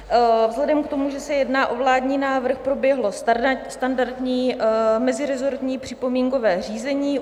Vzhledem k tomu, že se jedná o vládní návrh, proběhlo standardní meziresortní připomínkové řízení.